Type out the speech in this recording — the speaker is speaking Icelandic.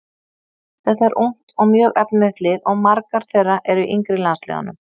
Þetta er ungt og mjög efnilegt lið og margar þeirra eru í yngri landsliðunum.